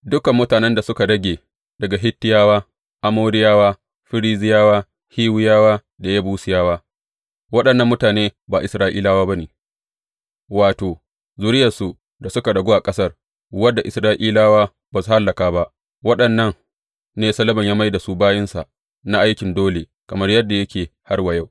Dukan mutanen da suka rage daga Hittiyawa, Amoriyawa, Ferizziyawa, Hiwiyawa da Yebusiyawa waɗannan mutane ba Isra’ilawa ba ne, wato, zuriyarsu da suka ragu a ƙasar, wadda Isra’ilawa ba su hallaka ba, waɗannan ne Solomon ya mai da su bayinsa na aikin dole, kamar yadda yake har wa yau.